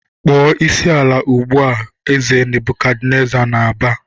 "Kpọọ isi n'ala ugbu a!" Eze Nebukadneza na-aba.